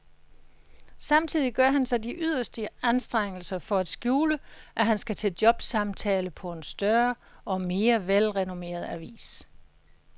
Samtidig gør han sig de yderste anstrengelser for at skjule, at han skal til jobsamtale på en større og mere velrenommeret avis.